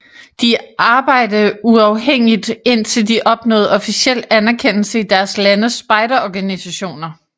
De arbejde uafhængigt indtil de opnåede officiel anerkendelse i deres landes spejderorganisationer